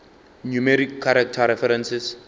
numeric character references